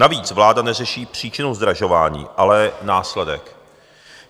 Navíc vláda neřeší příčinu zdražování, ale následek.